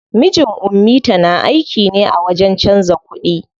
Mijin ummita na aiki ne a wajen canza kuɗi.